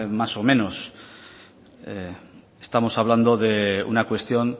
más o menos estamos hablando de una cuestión